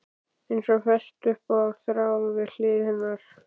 Eins og fest upp á þráð við hlið hennar.